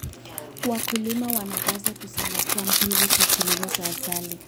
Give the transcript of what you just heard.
Wakulima wanapaswa kuzingatia mbinu za kilimo za asili.